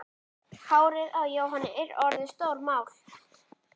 Hárið á Jóhanni er orðið stórmál.